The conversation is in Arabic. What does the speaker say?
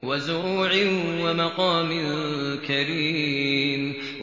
وَزُرُوعٍ وَمَقَامٍ كَرِيمٍ